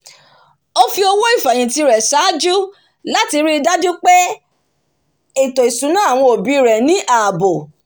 ó fi owó ìfèhìntì rẹ̀ sàájú láti ríi dájú pé ètò ìsúná àwọn òbí rẹ̀ ní ààbò